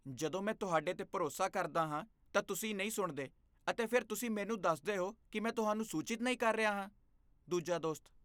ਜਦੋਂ ਮੈਂ ਤੁਹਾਡੇ 'ਤੇ ਭਰੋਸਾ ਕਰਦਾ ਹਾਂ ਤਾਂ ਤੁਸੀਂ ਨਹੀਂ ਸੁਣਦੇ ਅਤੇ ਫਿਰ ਤੁਸੀਂ ਮੈਨੂੰ ਦੱਸਦੇ ਹੋ ਕੀ ਮੈਂ ਤੁਹਾਨੂੰ ਸੂਚਿਤ ਨਹੀਂ ਕਰ ਰਿਹਾ ਹਾਂ ਦੂਜਾ ਦੋਸਤ